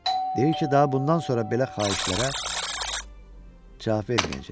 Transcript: Deyir ki, daha bundan sonra belə xahişlərə cavab verməyəcək.